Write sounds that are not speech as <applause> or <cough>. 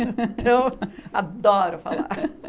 <laughs> Então, adoro falar.